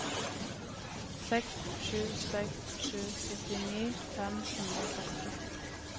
seks sju seks sju syttini fem hundre og førti